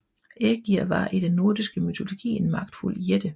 Ægir var i den nordiske mytologi en magtfuld jætte